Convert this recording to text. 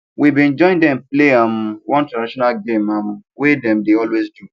we been join them play um one traditional game um wey them dey always do